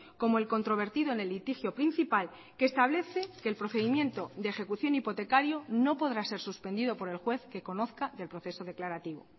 como el controvertido en el litigio principal que establece que el procedimiento de ejecución hipotecario no podrá ser suspendido por el juez que conozca del proceso declarativo